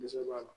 Dɛsɛ b'a la